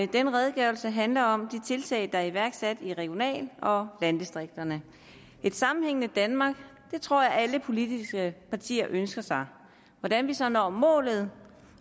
denne redegørelse handler om de tiltag der er iværksat i regional og landdistrikterne et sammenhængende danmark tror jeg alle politiske partier ønsker sig hvordan vi så når målet